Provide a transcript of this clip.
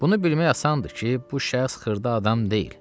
Bunu bilmək asandır ki, bu şəxs xırda adam deyil.